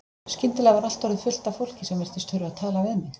Skyndilega var allt orðið fullt af fólki sem virtist þurfa að tala við mig.